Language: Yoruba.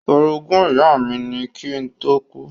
Orogún ìyá mi ni kí ó tó kú.